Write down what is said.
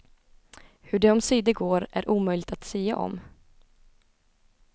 Hur det omsider går är omöjligt att sia om.